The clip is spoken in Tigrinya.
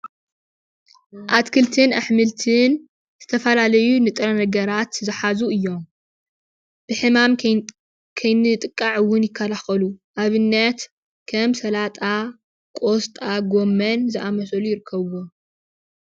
ኣትክልትን ኣሕምልትን ዝተፈላለዩ ንጥረ ነገራት ዝሓዙ እዮም፡፡ ብሕማም ከይንጥቃዕ እውን ይከላከሉ፡፡ ንኣብነት ከም ሰላጣ፣ ቆስጣ፣ ጎሞን ዝኣምሰሉ ይርከብዎም፡፡